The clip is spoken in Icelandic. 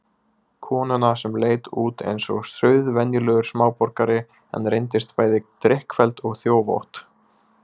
Konuna sem leit út eins og sauðvenjulegur smáborgari en reyndist bæði drykkfelld og þjófótt.